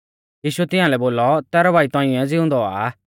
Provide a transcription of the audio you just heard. यीशुऐ तिंआलै बोलौ तैरौ भाई तौंइऐ ज़िउंदौ औआ आ